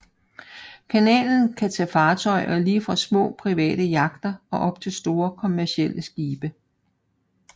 Kanalen kan tage fartøjer lige fra små private yachter og op til store kommercielle skibe